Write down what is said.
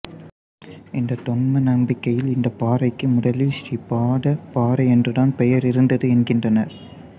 இந்தத் தொன்ம நம்பிக்கையில் இந்தப் பாறைக்கு முதலில் ஸ்ரீ பாதப் பாறை என்றுதான் பெயர் இருந்தது என்கின்றனர்